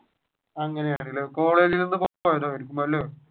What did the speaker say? അങ്ങനെയാണല്ലേ കോളേജ്